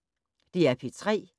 DR P3